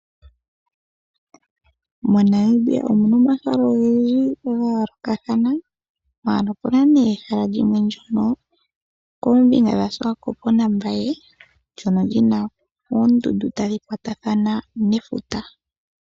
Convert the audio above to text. MoNamibia omu na omahala ogendji ga yoolokathana, ihe opu na nduno ehala ndyono li li koombinga dhaSwakopo naMbaye ndyono li na oondundu tadhi kwatathana nefuta.